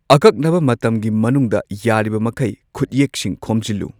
ꯑꯀꯛꯅꯕ ꯃꯇꯝꯒꯤ ꯃꯅꯨꯡꯗ ꯌꯥꯔꯤꯕ ꯃꯈꯩ ꯈꯨꯠꯌꯦꯛꯁꯤꯡ ꯈꯣꯝꯖꯤꯜꯂꯨ꯫